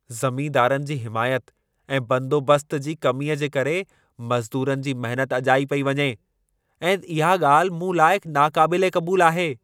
ज़मींदारनि जी हिमायत ऐं बंदोबस्त जी कमीअ जे करे मज़दूरनि जी महिनत अजाई पेई वञे ऐं इहा ॻाल्हि मूं लाइ नाक़ाबिले क़बूलु आहे।